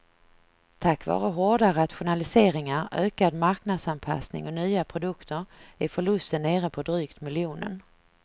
Tack vare hårda rationaliseringar, ökad marknadsanpassning och nya produkter är förlusten nere på drygt miljonen.